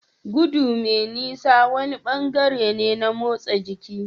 Gudu mai nisa wani bangare ne na motsa jiki.